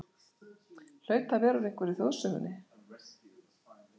Hlaut að vera úr einhverri þjóðsögunni.